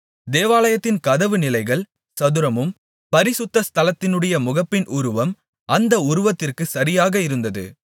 தேவாலயத்தின் கதவு நிலைகள் சதுரமும் பரிசுத்த ஸ்தலத்தினுடைய முகப்பின் உருவம் அந்த உருவத்திற்குச் சரியாக இருந்தது